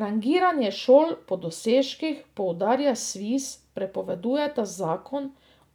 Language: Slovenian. Rangiranje šol po dosežkih, poudarja Sviz, prepovedujeta zakon